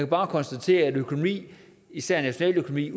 bare konstatere at økonomi især nationaløkonomi